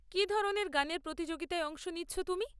কী ধরনের গানের প্রতিযোগিতায় অংশ নিচ্ছ তুমি?